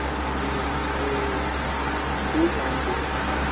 எங்களுக்கு two seventy